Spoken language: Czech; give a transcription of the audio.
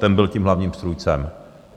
Ten byl tím hlavním strůjcem.